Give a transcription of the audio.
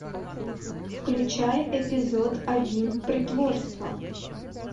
включай эпизод один притворство